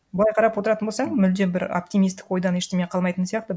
былай қарап отыратын болсаң мүлдем бір оптимистік ойдан ештеңе қалмайтын сияқты